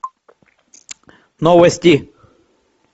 новости